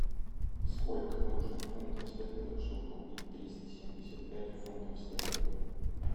сколько нужно фунтов стерлингов чтобы купить триста семьдесят пять фунтов стерлингов